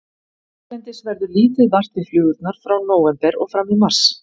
Hérlendis verður lítið vart við flugurnar frá nóvember og fram í mars.